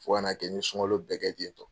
Fo ka na kɛ n ye sunkalo bɛɛ kɛ tentɔ.